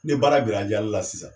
Ne baara bira jalila sisan